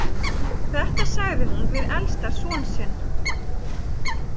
Þetta sagði hún við elsta son sinn.